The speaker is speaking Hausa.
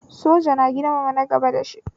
Soja na girmama na gaba da shi